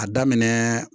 A daminɛ